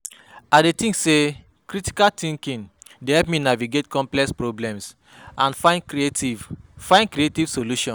I dey think say critical thinking dey help me navigate complex problems and find creative find creative solutions.